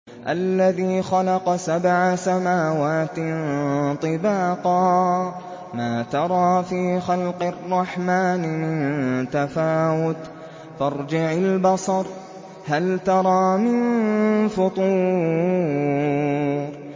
الَّذِي خَلَقَ سَبْعَ سَمَاوَاتٍ طِبَاقًا ۖ مَّا تَرَىٰ فِي خَلْقِ الرَّحْمَٰنِ مِن تَفَاوُتٍ ۖ فَارْجِعِ الْبَصَرَ هَلْ تَرَىٰ مِن فُطُورٍ